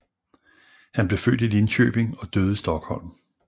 Han blev født i Linköping og døde i Stockholm